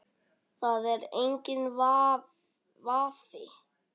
Það er enginn vafi.